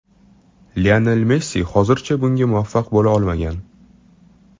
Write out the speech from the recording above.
Lionel Messi hozircha bunga muvaffaq bo‘la olmagan.